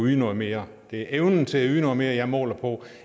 yde noget mere det er evnen til at yde noget mere jeg måler på og